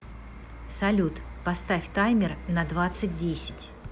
салют поставь таймер на двадцать десять